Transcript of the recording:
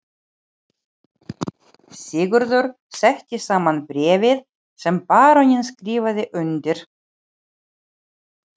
Sigurður setti saman bréf sem baróninn skrifaði undir.